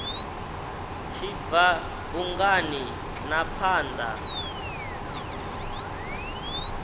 tshi bva bungani na phanda